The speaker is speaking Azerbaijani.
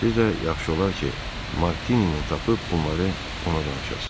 Siz də yaxşı olar ki, Martinini tapıb bunları ona danışasız.